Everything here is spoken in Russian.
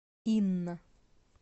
инна